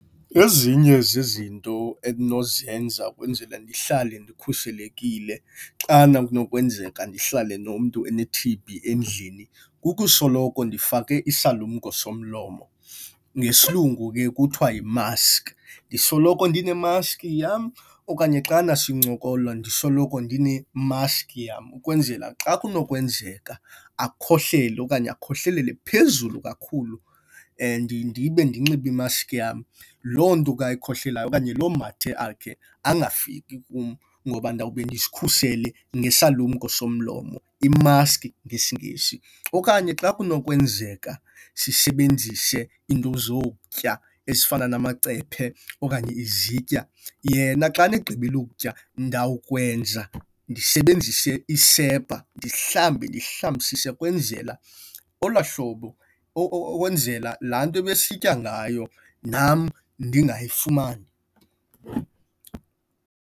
Ezinye zezinto endinozenza ukwenzele ndihlale ndikhuselekile xana kunokwenzeka ndihlale nomntu one-T_B endlini kukusoloko ndifake isalumko somlomo, ngesilungu ke kuthiwa yi-mask. Ndisoloko ndine-mask yam okanye xana sincokola ndisoloko ndine-mask yam. Ukwenzela xa kunokwenzeka akhohlele okanye akhohlelele phezulu kakhulu and ndibe ndinxibe imasiki yam, loo nto ke ayikhohlelayo okanye loo mathe akhe angafiki kum ngoba ndawube ndizikhusele ngesalumko somlomo, i-mask ngesiNgesi. Okanye xa kunokwenzeka sisebenzise into zokutya ezifana namacephe okanye izitya, yena xana egqibile ukutya, ndawukwenza ndisebenzise isepha ndizihlambe, ndizihlambisise ukwenzela olwaa hlobo, ukwenzela laa nto ebesitya ngayo nam ndingayifumani.